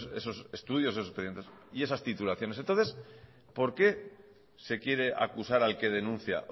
esos expedientes y esas titulaciones entonces por qué se quiere acusar al que denuncia